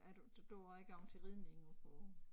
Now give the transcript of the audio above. At du du har gået til ridning oppe på